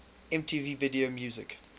mtv video music